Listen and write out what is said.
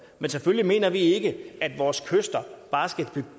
men selvfølgelig mener vi ikke at vores kyster bare